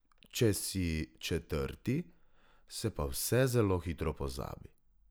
Če si četrti, se pa vse zelo hitro pozabi.